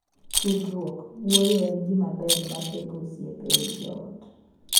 Tudruok (wuoyo) en gima ber ma tego osiep ei joot.